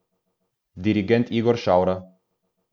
Dirigent Igor Švara.